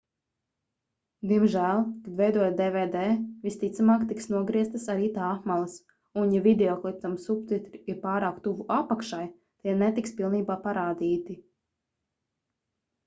diemžēl kad veidojat dvd visticamāk tiks nogrieztas arī tā apmales un ja videoklipam subtitri ir pārāk tuvu apakšai tie netiks pilnībā parādīti